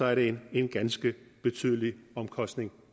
er det en ganske betydelig omkostning